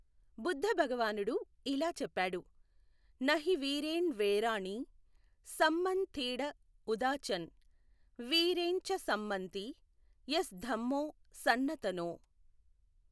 బుద్ధ భగవానుడు ఇలా చెప్పాడు, నహి వీరేన్ వేరాణి, సమ్మన్ తీఢ ఉదాచన్, వీరేన్ చ సమ్మంతి, ఎస్ ధమ్మో సన్నతనో.